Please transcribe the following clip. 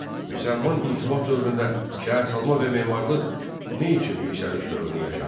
Müsəlman intibah dövründə şəhərsalma və memarlıq nə üçün yüksəliş dövrünü yaşadı?